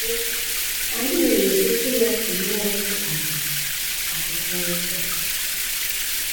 Mbụ, anyị nwere Okwu ya nke mmụọ nsọ kpaliri, Akwụkwọ Nsọ Nsọ.